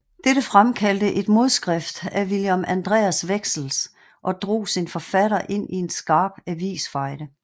Dette fremkaldte et modskrift af Wilhelm Andreas Wexels og drog sin forfatter ind i en skarp avisfejde